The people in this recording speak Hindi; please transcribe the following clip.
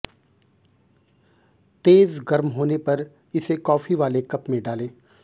तेज गर्म होने पर इसे कॉफी वाले कप में डालें